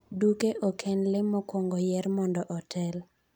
Duke ok en lee mokwongo yier mondo otel.